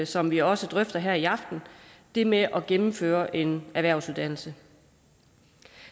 som vi også drøfter her i aften det med at gennemføre en erhvervsuddannelse